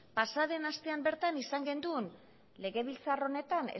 pasa den astean bertan izan genuen legebiltzar honetan